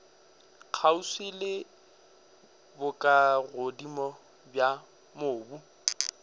kgauswi le bokagodimo bja mobu